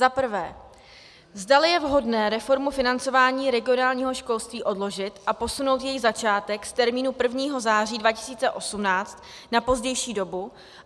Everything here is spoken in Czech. Za prvé, zdali je vhodné reformu financování regionálního školství odložit a posunout její začátek z termínu 1. září 2018 na pozdější dobu.